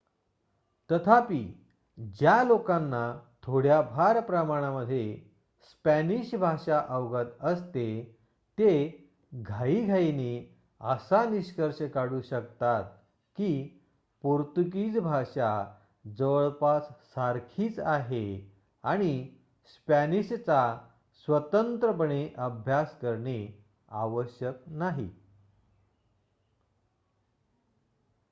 तथापि ज्या लोकांना थोड्याफार प्रमाणत स्पॅनिश भाषा अवगत असते ते घाईघाईने असा निष्कर्ष काढू शकतात की पोर्तुगीज भाषा जवळपास सारखीच आहे आणि स्पॅनिशचा स्वतंत्रपणे अभ्यास करणे आवश्यक नाही